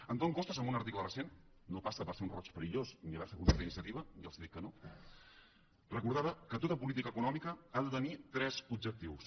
antón costas en un article recent no passa per ser un roig perillós ni haver se apuntat a iniciativa ja els dic que no recordava que tota política econòmica ha de tenir tres objectius